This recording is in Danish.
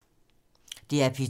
DR P2